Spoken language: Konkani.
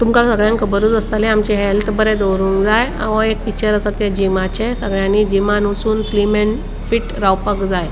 तुमका सगळ्याक खबरुच आस्तले आमचे हेल्थ बरे दोरोन्क जाए यो एक पिक्चर आसा ते जिमाचे सगळ्यांनी जिमान वचून स्लिम आणि फिट रावपाक जाए.